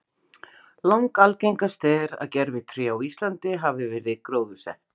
Langalgengast er að grenitré á Íslandi hafi verið gróðursett.